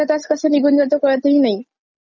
मी तर आधी खूप म्हणजे,